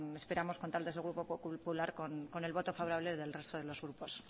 esperamos contar desde el grupo popular con el voto favorable del resto de los grupos